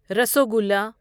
rasgulla rasgulla